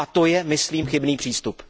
A to je, myslím, chybný přístup.